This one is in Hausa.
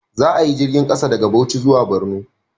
Za a yi jirgin ƙasa daga Bauchi zuwa Borno